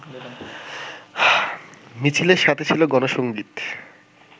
মিছিলের সাথে ছিল গণসঙ্গিত